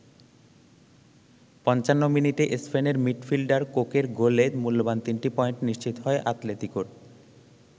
৫৫ মিনিটে স্পেনের মিডফিল্ডার কোকের গোলে মূল্যবান তিনটি পয়েন্ট নিশ্চিত হয় আতলেতিকোর।